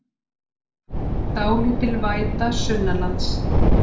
Dálítil væta sunnanlands